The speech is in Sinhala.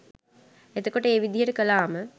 එතකොට ඒ විදිහට කළාම